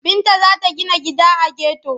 Binta za ta gina gida a geto.